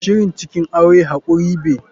Shirin cikin aure hakuri be.